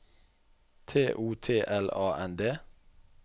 T O T L A N D